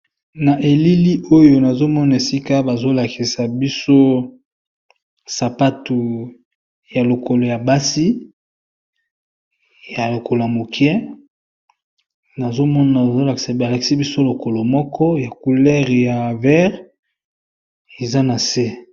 Na elili oyo nazo mona esika bazo lakisa biso sapatu ya lokolo ya basi ya lokola mokie, nazo mona ba lakisi biso lokolo moko ya couleur ya vert eza na se.